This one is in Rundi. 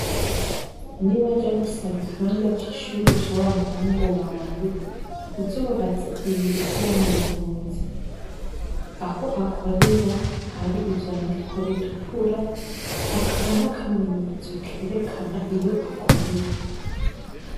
Niwaja gusaba ikibanza c'ishuri ca wamuhungu wawe uzobaze ibiro vy'umuyobozi aho akorera hari ivyandiko bitukura hakaba n'akamenyetso kerekana iyo akorera.